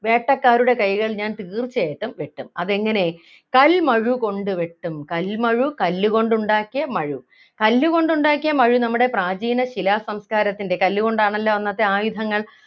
വേട്ടക്കാരുടെ കൈകൾ ഞാൻ തീർച്ചയായിട്ടും വെട്ടും അതെങ്ങനെ കൽമഴുകൊണ്ട് വെട്ടും കൽമഴു കല്ലുകൊണ്ട് ഉണ്ടാക്കിയ മഴു കല്ലുകൊണ്ട് ഉണ്ടാക്കിയ മഴു നമ്മുടെ പ്രാചീന ശിലാ സംസ്കാരത്തിൻ്റെ കല്ലുകൊണ്ടാണല്ലോ അന്നത്തെ ആയുധങ്ങൾ